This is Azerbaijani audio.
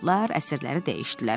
Lar əsrləri dəyişdilər.